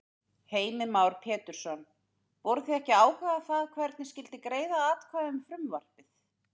Heimir Már Pétursson: Voruð þið að ákveða þar hvernig skyldi greiða atkvæði um frumvarpið?